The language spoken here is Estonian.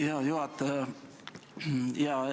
Hea juhataja!